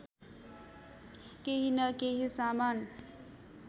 केही न केही सामान